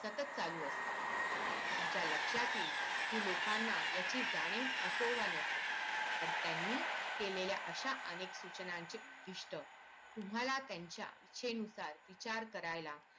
सतत चालू असतात तुमच्या लक्षात येईल कि लोकांना ह्याची जाणीव असो व नसो पण त्यांनी केलेल्या अशा अनेक सूचनांचे प्रतिष्ठ तुम्हाला त्यांच्या इच्छेनुसार विचार करायला